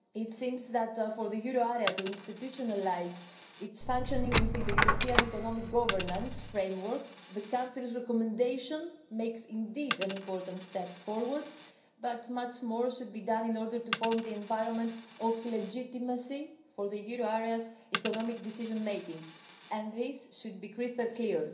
It seems that for the euro area to institutionalise its functioning within the European economic governance framework, the Council's recommendation indeed makes an important step forward, but much more should be done in order to form the environment of legitimacy for the euro area's economic decision making, and this should be crystal clear.